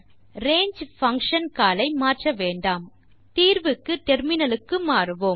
to not modify the range function call தீர்வுக்கு டெர்மினலுக்கு மாறுவோம்